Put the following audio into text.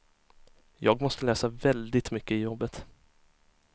Jag måste läsa väldigt mycket i jobbet.